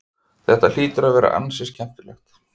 Þetta hlýtur að vera ansi skemmtilegt?